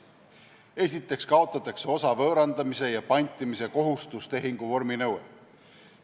Esiteks kaotatakse osa võõrandamise ja pantimise kohustustehingu vorminõue.